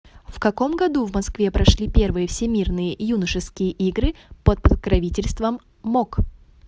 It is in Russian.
в каком году в москве прошли первые всемирные юношеские игры под покровительством мок